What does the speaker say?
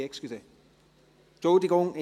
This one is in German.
Nein, entschuldigen Sie!